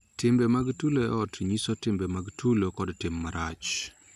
Timbe mag tulo e ot nyiso timbe mag tulo kod tim marach